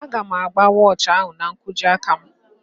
Aga m agba wọochi ahụ n'nkwojiaka m